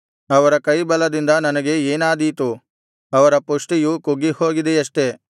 ಅವರ ಕೈ ಬಲದಿಂದ ನನಗೆ ಏನಾದೀತು ಅವರ ಪುಷ್ಟಿಯು ಕುಗ್ಗಿಹೋಗಿದೆಯಷ್ಟೆ